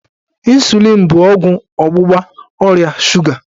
Ịnsulịn bụ ọgwụ ọgbụgba ọrịa shuga.